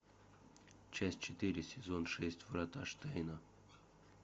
часть четыре сезон шесть врата штейна